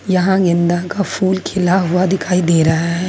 यहां गेंदा का फूल खिला हुआ दिखाई दे रहा है।